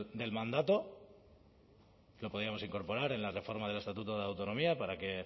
del mandato lo podíamos incorporar en la reforma del estatuto de autonomía para que